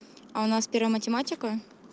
а у нас первая математика